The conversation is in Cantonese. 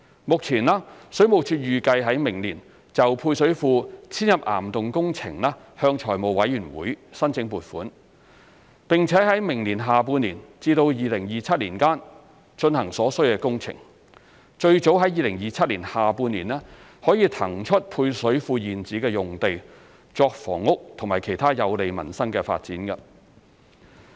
目前，水務署預計在明年就配水庫遷入岩洞工程向財務委員會申請撥款，並在明年下半年至2027年間進行所需工程，最早在2027年下半年可以騰出配水庫現址用地作房屋及其他有利民生的發展。